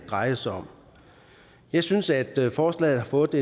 drejer sig om jeg synes at forslaget har fået